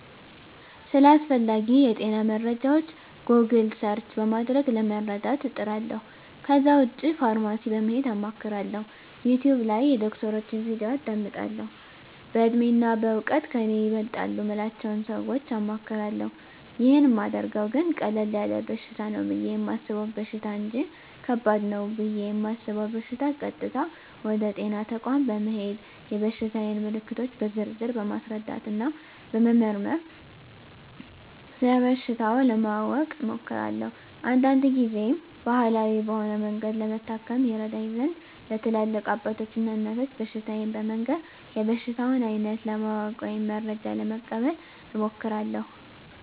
ስለ አስፈላጌ የጤና መረጃወች "ጎግል" ሰርች" በማድረግ ለመረዳት እጥራለሁ ከዛ ውጭ ፋርማሲ በመሄድ አማክራለሁ፣ "ዩቲውብ" ላይ የዶክተሮችን "ቪዲዮ" አዳምጣለሁ፣ በእድሜና በእውቀት ከኔ ይበልጣሉ ምላቸውን ሰወች አማክራለሁ። ይህን ማደርገው ግን ቀለል ያለ በሽታ ነው ብየ የማሰበውን በሽታ እንጅ ከባድ ነው ብየ እማስበውን በሸታ ቀጥታ ወደ ጤና ተቋም በመሄድ የበሽታየን ምልክቶች በዝርዝር በማስረዳትና በመመርመር ስለበሽታው ለማወቅ እሞክራለሁ። አንዳንድ ግዜም ባህላዊ በሆነ መንገድ ለመታከም ይረዳኝ ዘንድ ለትላልቅ አባቶች እና እናቶች በሽታየን በመንገር የበሽታውን አይነት ለማወቅ ወይም መረጃ ለመቀበል እሞክራለሁ።